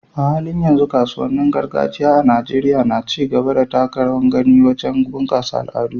A halin yanzu, kasuwannin gargajiya a Najeriya na ci gaba da taka rawar gani wajen bunƙasa al'adu.